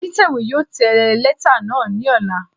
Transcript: Onitẹwe yóò tẹ lẹta naa ni ọla